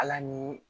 Ala ni